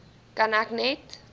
kan ek net